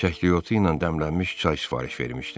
Çəkiotu ilə dəmlənmiş çay sifariş vermişdim.